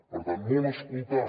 per tant molt escoltar